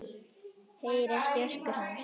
Heyri ekki öskur hans.